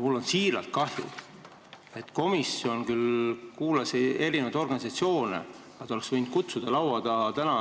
Mul on siiralt kahju, et komisjon küll kuulas erinevaid organisatsioone, aga ei kutsunud laua taha